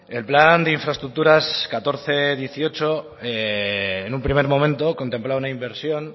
el plan de infraestructura mil cuatrocientos dieciocho en un primer momento contemplaba una inversión